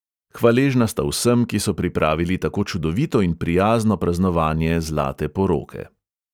Hvaležna sta vsem, ki so pripravili tako čudovito in prijazno praznovanje zlate poroke.